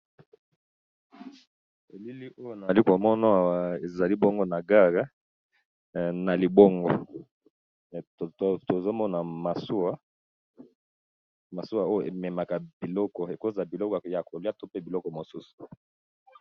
Elili oyo eza liboso nangai namoni ezo lakisa biso eza na libongo nazomona masuwa masuwa oyo ememaka ba biloko ya koliya pe babiloko mosusu